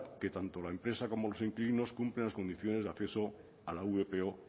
que tanto la empresa como los inquilinos cumplen las condiciones de acceso a la vpo